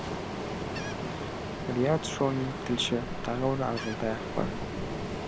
риат шони тілші тағы бір ақжолтай ақпар